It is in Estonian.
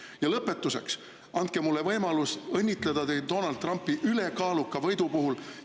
Ja lõpetuseks, andke mulle võimalus õnnitleda teid Donald Trumpi ülekaaluka võidu puhul.